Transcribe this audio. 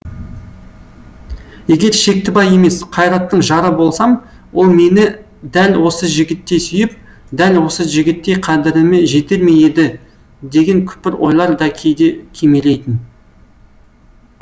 егер шектібай емес қайраттың жары болсам ол мені дәл осы жігіттей сүйіп дәл осы жігіттей қадіріме жетер ме еді деген күпір ойлар да кейде кимелейтін